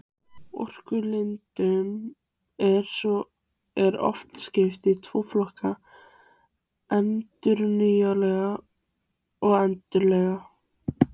Orkulindum er oft skipt í tvo flokka, endurnýjanlegar og endanlegar.